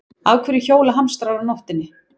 Af hverju hjóla hamstrar á nóttinni?